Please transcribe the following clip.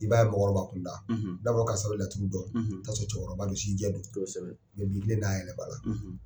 I b'a ye mɔgɔkɔrɔba kunda l n'a fɔra karisa bɛ laturu dɔn, i bi taa sɔrɔ cɛkɔrɔba don, si jɛ don, a yɛrɛ kɔrɔ.